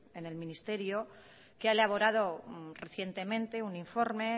en el ministerio que ha elaborado recientemente un informe